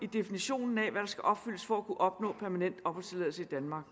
definitionen af hvad der skal opfyldes for at kunne opnå permanent opholdstilladelse i danmark